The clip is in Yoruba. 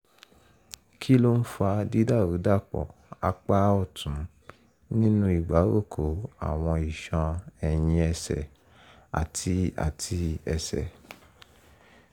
kí ló ń fa dídàrúdàpọ̀ apá ọ̀tún nínú ìgbáròkó àwọn iṣan ẹ̀yìn ẹsẹ̀ àti àti ẹsẹ̀?